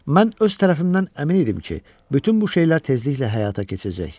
Mən öz tərəfimdən əmin idim ki, bütün bu şeylər tezliklə həyata keçiriləcək.